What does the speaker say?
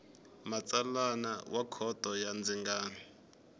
matsalana wa khoto ya ndzingano